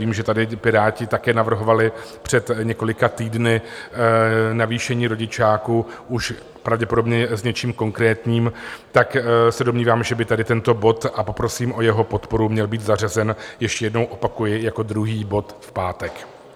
Vím, že tady Piráti také navrhovali před několika týdny navýšení rodičáku už pravděpodobně s něčím konkrétním, tak se domnívám, že by tady tento bod, a poprosím o jeho podporu, měl být zařazen, ještě jednou opakuji, jako druhý bod v pátek.